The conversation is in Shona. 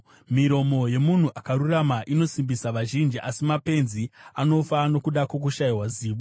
Miromo yemunhu akarurama inosimbisa vazhinji, asi mapenzi anofa nokuda kwokushayiwa zivo.